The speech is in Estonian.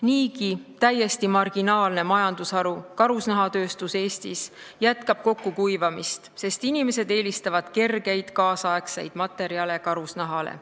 Niigi täiesti marginaalne majandusharu, karusnahatööstus Eestis, jätkab kokkukuivamist, sest inimesed eelistavad kergeid nüüdisaegseid materjale karusnahale.